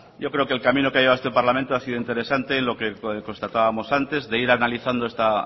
yo creo que el camino que ha llevado este parlamento ha sido interesante lo que constatábamos antes de ir analizando esta